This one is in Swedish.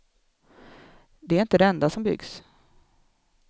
Det är inte det enda som byggs.